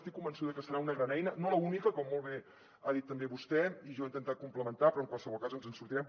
estic convençuda que serà una gran eina no l’única com molt bé ha dit també vostè i jo he intentat complementar però en qualsevol cas ens en sortirem